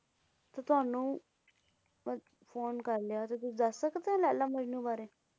ਤੁਹਾਨੂੰ ਬਸ ਫੋਨ ਕਰ ਲਿਆ ਤੁਸੀ ਦੱਸ ਸਕਦੇ ਹੋ ਲੈਲਾ ਮਜਨੂੰ ਬਾਰੇ।